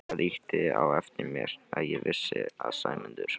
Það ýtti á eftir mér að ég vissi að Sæmundur